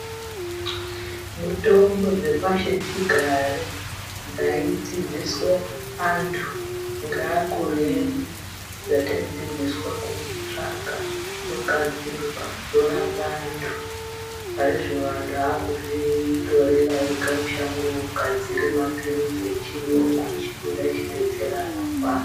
Mitombo dzepashichigare dzaidzidziswe anthu ngeakuru edu dzataidzidziswa kutsvaga dzogadzirwa dzorape anthu. Parizvino anthu aakuzvitorera ega mushango ogadzira mapilizi echiyungu echifunda echidetsera anorwara.